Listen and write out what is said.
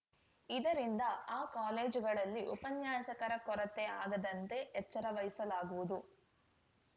ಇದರಿಂದ ಆ ಕಾಲೇಜುಗಳಲ್ಲಿ ಉಪನ್ಯಾಸಕರ ಕೊರತೆ ಆಗದಂತೆ ಎಚ್ಚರ ವಹಿಸಲಾಗುವುದು